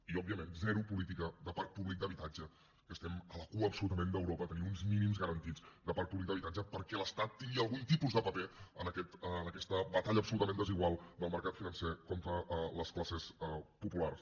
i òbviament zero política de parc públic d’habitatge que estem a la cua absolutament d’europa a tenir uns mínims garantits de parc públic d’habitatge perquè l’estat tingui algun tipus de paper en aquesta batalla absolutament desigual del mercat financer contra les classes populars